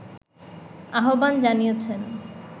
আহ্বান জানিয়েছেন